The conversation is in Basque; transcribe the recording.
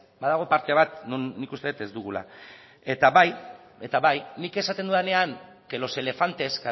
badago parte bat non nik uste dut ez dugula eta bai eta bai nik esaten dudanean que los elefantes